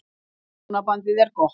Hjónabandið er gott.